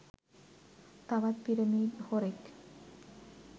තවත් පිරමිඩ් හොරෙක්.